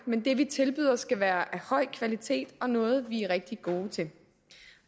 men det vi tilbyder skal være af høj kvalitet og noget vi er rigtig gode til